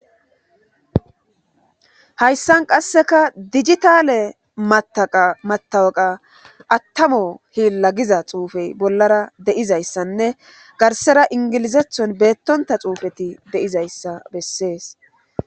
Hayssan qasseka dijithaale maththaqaa maththawuqaa aththamo hiillla giza xuufey bollara de7izayssanne garssera ingilizeththon beeththonththa xuufethi de7izayssa bessees.